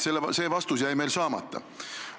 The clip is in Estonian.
See vastus jäi meil saamata.